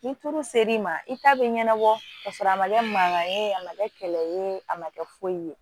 Ni tulu ser'i ma i ta bɛ ɲɛnabɔ ka sɔrɔ a ma kɛ mankan ye a ma kɛ kɛlɛ ye a ma kɛ foyi ye